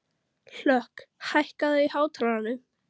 Hlökk, hækkaðu í hátalaranum.